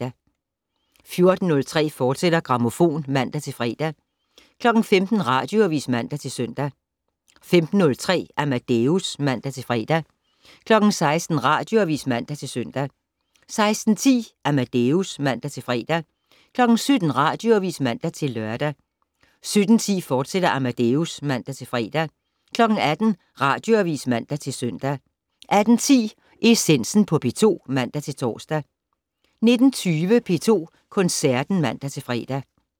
14:03: Grammofon, fortsat (man-fre) 15:00: Radioavis (man-søn) 15:03: Amadeus (man-fre) 16:00: Radioavis (man-søn) 16:10: Amadeus (man-fre) 17:00: Radioavis (man-lør) 17:10: Amadeus, fortsat (man-fre) 18:00: Radioavis (man-søn) 18:10: Essensen på P2 (man-tor) 19:20: P2 Koncerten (man-fre)